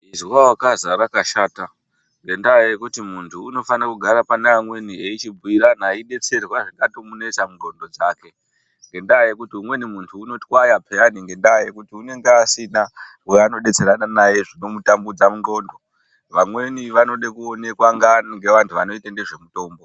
Izwa wakaza rakashata ngendaa yekuti muntu unofanira kugara pana amweni aichibhuirana aidetserwa zvingatomunetsa mundxondo dzake, ngendaa yekuti muntu unotwaya peyani ngendaa yekuti unenge asina waanodetserana naye zvinomutambudza mundxondo. Vamweni vanode kuonekwa ngeantu vanoita ngezvemutombo.